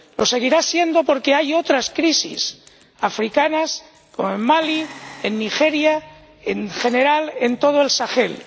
Lo seguirá siendo porque hay otras crisis africanas como en Mali, en Nigeria, en general, en todo el Sahel.